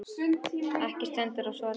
Ekki stendur á svari.